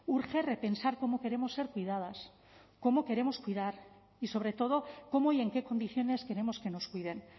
urge repensar cómo queremos ser cuidadas cómo queremos cuidar y sobre todo cómo y en qué condiciones queremos que nos cuiden